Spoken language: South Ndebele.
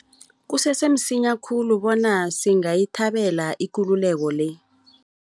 Kusese msinya khulu bona singayithabela ikululeko le.